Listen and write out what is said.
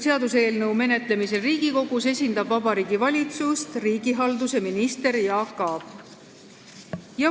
Seaduseelnõu menetlemisel Riigikogus esindab Vabariigi Valitsust riigihalduse minister Jaak Aab.